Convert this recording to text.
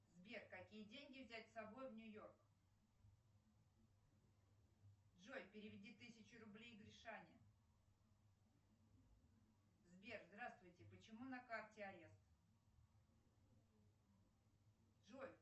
сбер какие деньги взять с собой в нью йорк джой переведи тысячу рублей гришане сбер здравствуйте почему на карте арест джой